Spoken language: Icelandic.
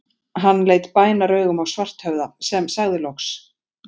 Hann leit bænaraugum á Svarthöfða, sem sagði loks